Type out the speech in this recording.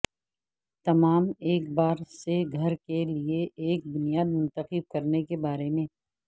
تمام ایک بار سے گھر کے لئے ایک بنیاد منتخب کرنے کے بارے